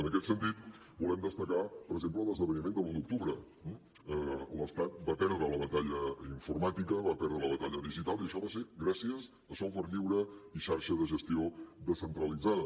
en aquest sentit volem destacar per exemple l’esdeveniment de l’un d’octubre l’estat va perdre la batalla informàtica va perdre la batalla digital i això va ser gràcies a software lliure i xarxa de gestió descentralitzada